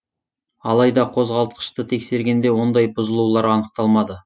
алайда қозғалтқышты тексергенде ондай бұзылулар анықталмады